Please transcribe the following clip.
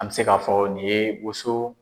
An bɛ se k'a fɔ nin ye woso.